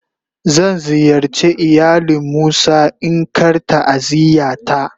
Zan ziyarce ilayalin musa in Kar ta'aziyya ta.